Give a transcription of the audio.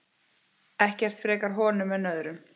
Ekkert frekar honum en öðrum.